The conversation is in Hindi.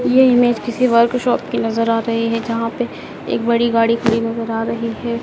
ये इमेज़ किसी वर्कशॉप की नजर आ रही है जहां पे एक बड़ी गाड़ी खड़ी नजर आ रही है।